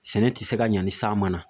Sɛnɛ tɛ se ka ɲa ni san ma na